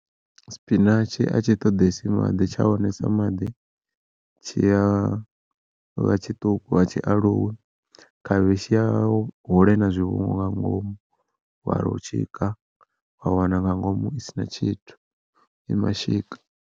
Sipinatshi a tshi ṱoḓesi maḓi tsha wanesa maḓi tshiya vha tshiṱuku a tshi aluwi, khavhishi ya hula ina zwivhungu nga ngomu wa tshika wa wana nga ngomu isina tshithu i mashika.